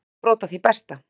Kíkjum á brot af því besta.